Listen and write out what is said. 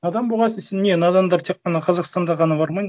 надан болған сон сен не надандар тек қана қазақстанда ғана бар ма не